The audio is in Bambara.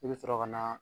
I bɛ sɔrɔ ka na